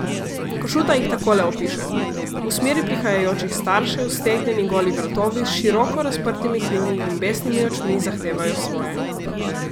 Košuta jih takole opiše: "V smeri prihajajočih staršev stegnjeni goli vratovi s široko razprtimi kljuni in besnimi očmi zahtevajo svoje.